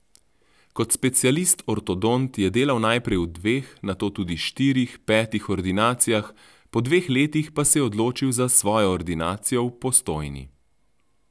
Kot specialist ortodont je delal najprej v dveh, nato tudi štirih, petih ordinacijah, po dveh letih pa se je odločil za svojo ordinacijo v Postojni.